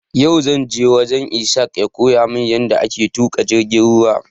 Yau zanje wajen Ishaq ya koya mun yada ake tuƙa jirgin ruwa